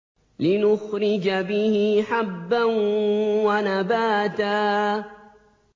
لِّنُخْرِجَ بِهِ حَبًّا وَنَبَاتًا